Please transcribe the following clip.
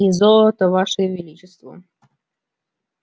и золото ваше величество